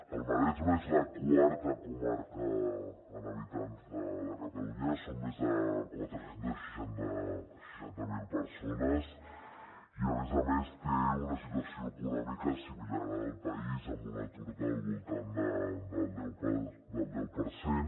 el maresme és la quarta comarca en habitants de catalunya són més de quatre cents i seixanta miler persones i a més a més té una situació econòmica similar a la del país amb un atur del voltant del deu per cent